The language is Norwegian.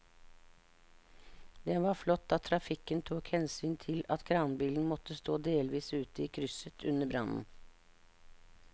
Det var flott at trafikken tok hensyn til at kranbilen måtte stå delvis ute i krysset under brannen.